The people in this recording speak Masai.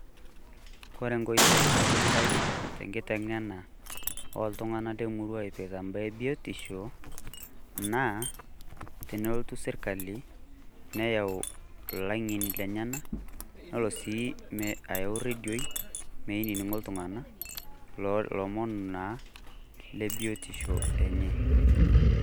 kore enkoitoi sidai tenkiteng'ena oltung'anak temuruaa eipirta mbaa ee biotisho naa tenelotu sirkali neyau ilang'eni lenyenak neyauu sii redioi meinining'o iltunganak lomon naa lebiotisho lenye